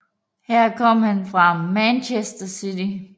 Her kom han fra Manchester City